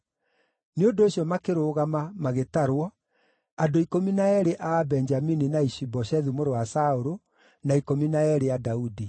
Nĩ ũndũ ũcio makĩrũgama magĩtarwo, andũ ikũmi na eerĩ a Abenjamini na Ishi-Boshethu mũrũ wa Saũlũ, na ikũmi na eerĩ a Daudi.